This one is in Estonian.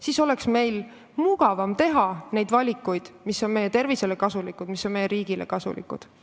Nii oleks meil mugavam teha neid valikuid, mis on meie tervisele kasulikud ja mis on meie riigile kasulikud.